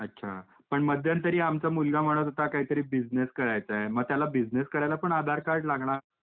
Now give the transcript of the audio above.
अच्छा! पण मध्यन्तरी आमचा मुलगा म्हणत होता काहीतरी बिसनेस करायचा आहे मग त्याला बिसनेस करायला पण आधार कार्ड लागणार का?